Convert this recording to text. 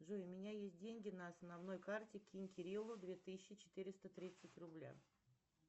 джой у меня есть деньги на основной карте кинь кириллу две тысячи четыреста тридцать рубля